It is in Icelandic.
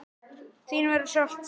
Þín verður sárt saknað.